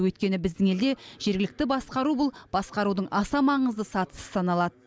өйткені біздің елде жергілікті басқару бұл басқарудың аса маңызды сатысы саналады